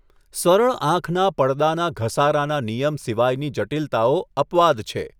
સરળ આંખના પડદાના ઘસારાના નિયમ સિવાયની જટિલતાઓ અપવાદ છે.